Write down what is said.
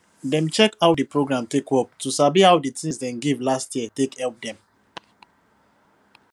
dem check how di progra take work to sabi how di tins dem give last year take help dem